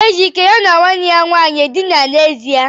Ejike ya na nwanne ya nwanyi ha dina n'ezie?